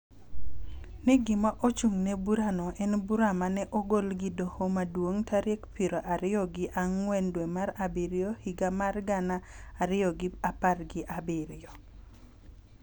ni gima ochung�ne burano en bura ma ne ogol gi Doho Maduong� tarik piero ariyo gi ang'wen dwe mar Abiriyo higa mar gana ariyo gi apar gi abiriyo,